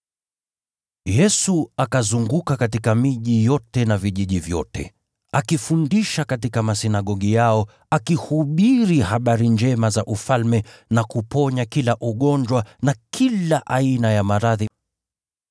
Yesu akazunguka katika miji yote na vijiji vyote, akifundisha katika masinagogi yao, akihubiri habari njema za Ufalme, na akiponya kila ugonjwa na kila aina ya maradhi.